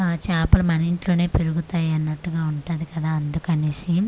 ఆ చాపలు మన ఇంట్లోనే పెరుగుతాయన్నట్టుగా ఉంటాది కదా అందుకనేసి--